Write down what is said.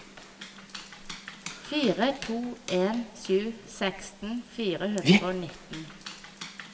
fire to en sju seksten fire hundre og nitten